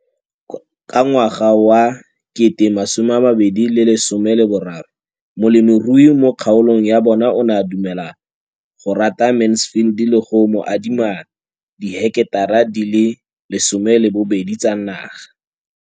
Ka ngwaga wa 2013, molemirui mo kgaolong ya bona o ne a dumela go ruta Mansfield le go mo adima di heketara di le 12 tsa naga.